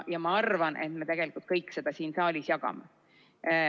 Ja ma arvan, et me tegelikult kõik seda siin saalis jagame.